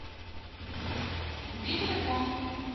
где телефон